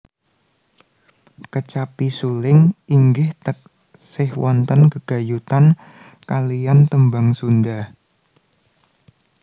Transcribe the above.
Kecapi suling inggih taksih wonten gegayutan kaliyan tembang Sunda